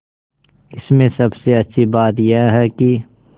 इसमें सबसे अच्छी बात यह है कि